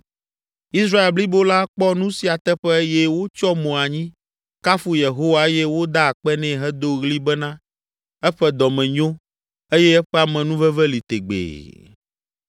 Israel blibo la kpɔ nu sia teƒe eye wotsyɔ mo anyi, kafu Yehowa eye woda akpe nɛ hedo ɣli bena, “Eƒe dɔme nyo eye eƒe amenuveve li tegbee!”